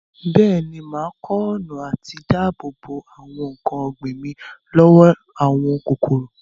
Bẹ́ẹ̀ni, mà á kọ́ ọ̀nà àti dáàbò bo àwọn nǹkan ọ̀gbìn mi lọ́wọ́ àwọn kòkòrò.